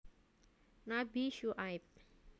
Nabi Syuaib